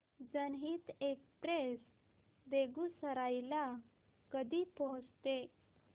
जनहित एक्सप्रेस बेगूसराई ला कधी पोहचते